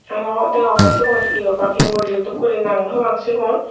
aro degongye cigun he obak he morijo dokken gori nang nw pang cigun.